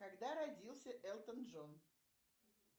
когда родился элтон джон